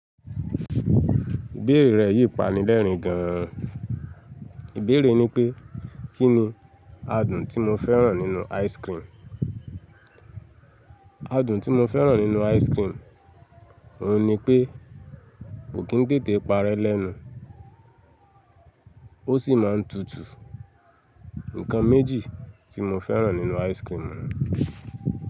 Ìbéèrè rẹ̀ yìí pani lẹ́rìn gan. Ìbéèrè ni pé, kí ni adùn tí mo fẹ́ràn nínú ice cream? Adùn tí mo fẹ́ràn nínú ice cream, òun ni pé kò kín tètè parẹ́ lẹ́nu, ó sì máa ń tutù. Nǹkan méjì tí mo fẹ́ràn nínú ice cream nu.